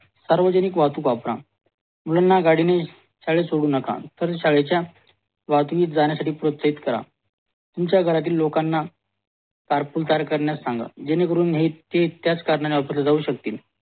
सार्वजानिक वाहतूक वापरा मुलांना गाडीनी शाळेत सोढू नका तर शाळेचा प्राथमिक जाण्यासाठी प्रोत्साहित करा तुमच्या घरातील लोकांना car parking करन्यात सांगा जेणे करून त्याच कारणांनी जाऊ शकतील